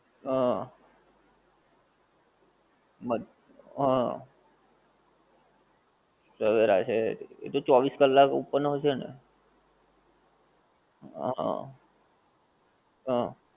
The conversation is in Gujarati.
આહ. મદ્ હા. સવેરા છે એતો ચોવીસ કલાક open હોય છે ને? આહા હં.